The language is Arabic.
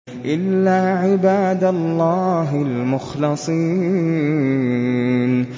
إِلَّا عِبَادَ اللَّهِ الْمُخْلَصِينَ